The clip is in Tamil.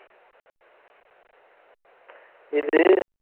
இது